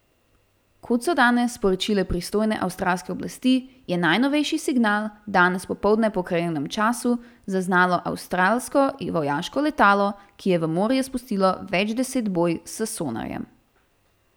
Kot so danes sporočile pristojne avstralske oblasti, je najnovejši signal danes popoldne po krajevnem času zaznalo avstralsko vojaško letalo, ki je v morje spustilo več deset boj s sonarjem.